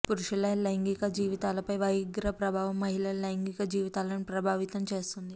పురుషుల లైంగిక జీవితాలపై వయాగ్రా ప్రభావం మహిళల లైంగిక జీవితాలను ప్రభావితం చేస్తుంది